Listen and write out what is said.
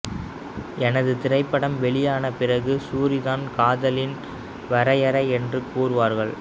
எனது திரைப்படம் வெளியான பிறகு சூரி தான் காதலின் வரையறை என்று கூறுவார்கள்